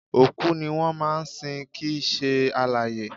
Òkú ni wọ́n máa ń sin kìí ṣe alààyè